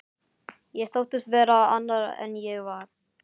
Ég þóttist vera annar en ég var.